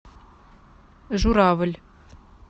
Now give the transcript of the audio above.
журавль